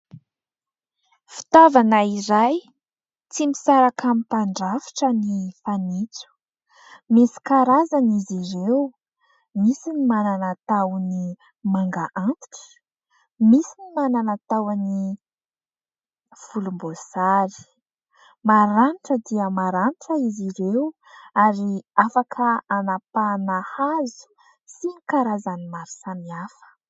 fitaovana iray tsy misaraka amin'ny mpandrafitra ny fanintso. Misy karazana izy ireo, misy ny manana tahony manga antitra, misy ny manana tahoan'ny volom-bosary maranitra dia maranitra. Izy ireo ary afaka anampahana hazo sy ny karazan'ny maro samy hafa.